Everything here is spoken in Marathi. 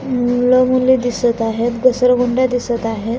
नीळ नीळ दिसत आहेत घसरगुंड्या दिसत आहेत.